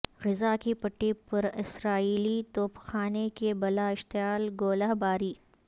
غزہ کی پٹی پراسرائیلی توپخانے کی بلا اشتعال گولہ باری